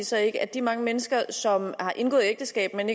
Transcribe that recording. så ikke at de mange mennesker som har indgået ægteskab men